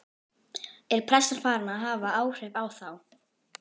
Er pressan farin að hafa áhrif á þá?